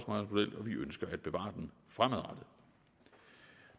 vi ønsker at bevare den fremadrettet